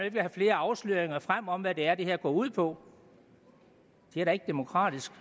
ikke have flere afsløringer frem om hvad det er det her går ud på det er da ikke demokratisk